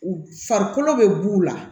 Farikolo bɛ b'u la